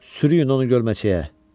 Sürüyün onu gölməçəyə!